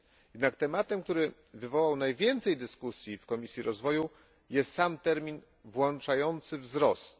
Jednak tematem, który wywołał najwięcej dyskusji w Komisji Rozwoju, jest sam termin włączający wzrost.